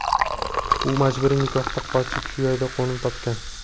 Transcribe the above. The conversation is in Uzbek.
U majburiy nikohdan qochib shu yerda qo‘nim topgan.